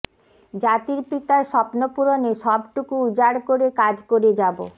জাতির পিতার স্বপ্ন পূরণে সবটুকু উজাড় করে কাজ করে যাবো